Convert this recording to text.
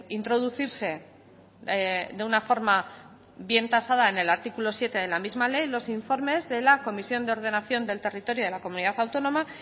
introducirse de una forma bien tasada en el artículo siete de la misma ley los informes de la comisión de ordenación del territorio de la comunidad autónoma